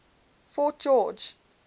fort george